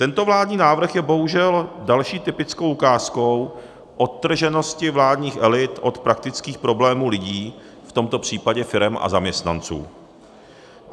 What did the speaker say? Tento vládní návrh je bohužel další typickou ukázkou odtrženosti vládních elit od praktických problémů lidí, v tomto případě firem a zaměstnanců.